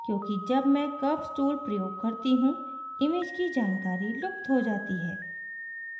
क्योंकि जब मैं curves tool प्रयोग करती हूँ image की जानकारी लुप्त हो जाती है